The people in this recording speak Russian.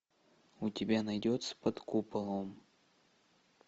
у тебя найдется под куполом